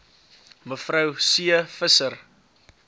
me c visser